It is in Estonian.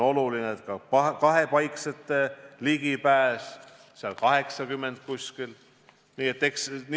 Oluline on ka kahepaiksete läbipääsu tagamine, neid kohti on umbes 80.